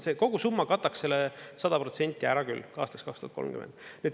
See kogusumma kataks selle 100% ära küll aastaks 2030.